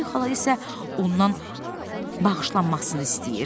Poli xala isə ondan bağışlanmasını istəyir.